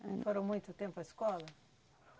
foram muito tempo à escola?